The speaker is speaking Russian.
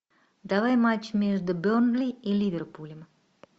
давай матч между бернли и ливерпулем